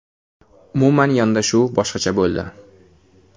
Umuman yondashuv boshqacha bo‘ldi.